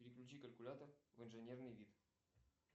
переключи калькулятор в инженерный вид